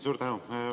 Suur tänu!